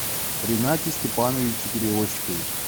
ринате степановиче перевозчикове